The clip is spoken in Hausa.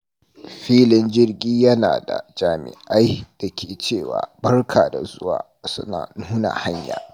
Filin jirgi yana da jami’ai da ke cewa "Barka da zuwa" suna nuna hanya.